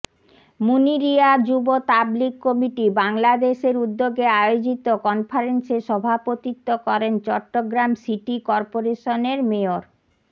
মুনিরীয়া যুব তাবলিগ কমিটি বাংলাদেশের উদ্যোগে আয়োজিত কনফারেন্সে সভাপতিত্ব করেন চট্টগ্রাম সিটি করপোরেশনের মেয়র